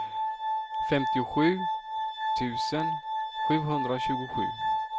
femtiosju tusen sjuhundratjugosju